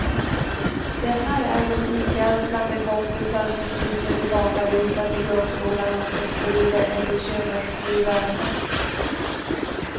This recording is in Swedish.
Det här är musikälskande kompisar som sitter tillbakalutat i gungstolarna och sprider en bekymmersfri värme.